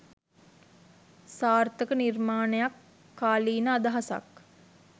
සාර්ථක නිර්මාණයක් කාලීන අදහසක්